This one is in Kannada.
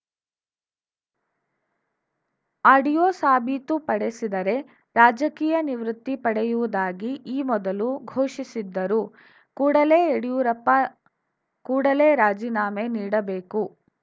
ಆಡಿಯೋ ಸಾಬೀತುಪಡಿಸಿದರೆ ರಾಜಕೀಯ ನಿವೃತ್ತಿ ಪಡೆಯುವುದಾಗಿ ಈ ಮೊದಲು ಘೊಷಿಸಿದ್ದರು ಕೂಡಲೇ ಯಡಿಯೂರಪ್ಪ ಕೂಡಲೇ ರಾಜೀನಾಮೆ ನೀಡಬೇಕು